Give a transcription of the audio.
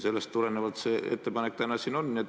Sellest tulenevalt see ettepanek täna siin on.